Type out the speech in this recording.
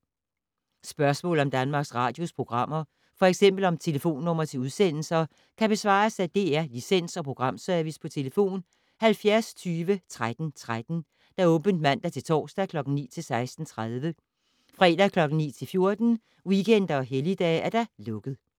Spørgsmål om Danmarks Radios programmer, f.eks. om telefonnumre til udsendelser, kan besvares af DR Licens- og Programservice: tlf. 70 20 13 13, åbent mandag-torsdag 9.00-16.30, fredag 9.00-14.00, weekender og helligdage: lukket.